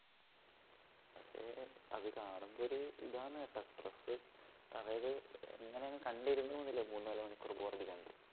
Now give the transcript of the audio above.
പക്ഷേ അത് കാണുമ്പോ ഒരിതാണുകേട്ടോ stress അതായത് ഇങ്ങനെഅങ്ങ് കണ്ടിരുന്നു പോവുന്നില്ല മൂന്നാല് മണിക്കൂറ്